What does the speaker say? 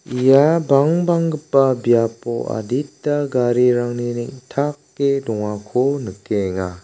ia bangbanggipa biapo adita garirangni neng·take dongako nikenga.